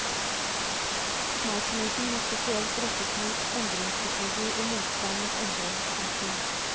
Oppmerksomheten må spesielt rettes mot endringspsykologi og motstand mot endring. punktum